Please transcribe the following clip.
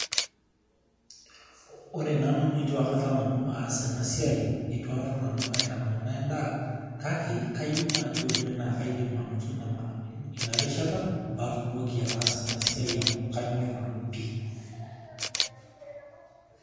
Ore nanu nitu akata aas ena siai itu akata nanu aitamanaa endaa kake kayieu naai naa kaidim anoto ena rishata amu kanyorr pii.